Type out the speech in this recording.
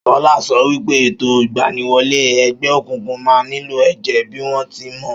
Ṣọlá sọ wípé ètò ìgbaniwọlé ẹgbẹ́ òkùnkùn máa nílò èjè bíi won ti mọ